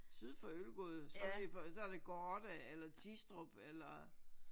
Syd for Ølgod så bliver så er det Gårde eller Tistrup eller